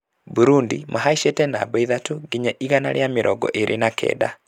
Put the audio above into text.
Burundi mabacĩte namba ithatũ nginya ĩgana rĩa mĩrongo ĩĩri na kenda